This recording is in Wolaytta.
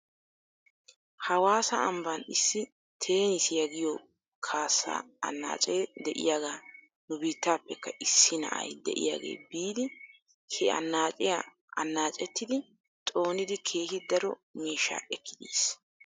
Hawaasa ambban issi teenissiyaa giyoo kaasaa anaacee diyaagaa nubiitapekka issi na'ay diyaagee biidi he anaachiya anaachettidi xoonidi keehi daro miishshaa ekkidi yiis.